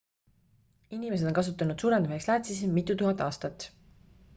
inimesed on kasutanud suurendamiseks läätsesid mitutuhat aastat